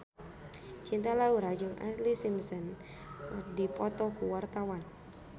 Cinta Laura jeung Ashlee Simpson keur dipoto ku wartawan